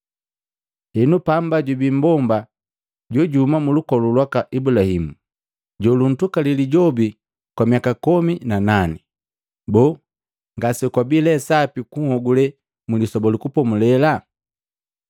Henu pamba jubii mbomba jo juhuma mulukolu lwaka Ibulahimu, joluntukali lijobi kwa miaka komi na nane. Boo, ngase kwabii lee sapi kunhogule Mlisoba lu Kupomulela?”